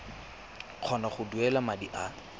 kgona go duela madi a